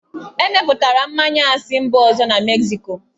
Emepụtara mmanya a si mba ọzọ na Mexico